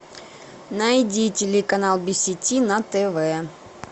найди телеканал би си ти на тв